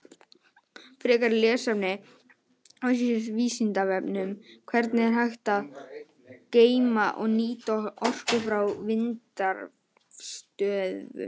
Frekara lesefni á Vísindavefnum: Hvernig er hægt að geyma og nýta orku frá vindrafstöðvum?